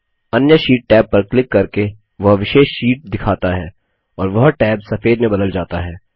अन्य sheet tab पर click करके वह विशेष शीट दिखाता है और वह टैब सफेद में बदल जाता है